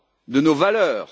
De nos valeurs?